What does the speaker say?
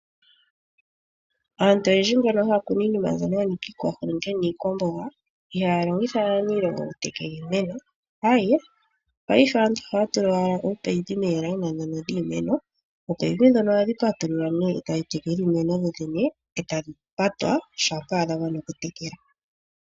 Aantu oyendji mbono haya kunu iinima yanika iikwahulunde niikwamboga, ihaya longitha aaniilonga okutekela iimeno. Paife aantu ohaya tula owala ominino, moondjila ndhono dhiimeno. Ominino ndhono ohadhi patululwa nee e tadhi tekele iimeno dhoodhene, e tadhi patwa shampa dhamane okutekela.